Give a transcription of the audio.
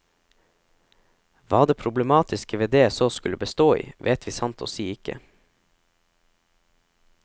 Hva det problematiske ved det så skulle bestå i, vet vi sant å si ikke.